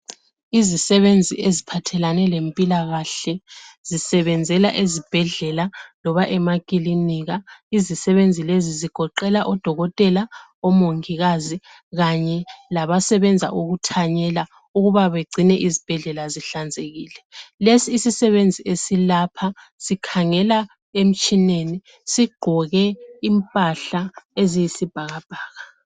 Izisebwnzi eziphathelane lempilakahle zisebenzela ezibhedlela loba emakilinika izisebenzi lezi udokotela omongikazi kanye labasebenza ukuthanyela ukubabegcine izibhedlela zihlanzekile lesi isisebenzi esilapha sokhangela emtshineni sigqoke imphahla eziyisi bhakabhaka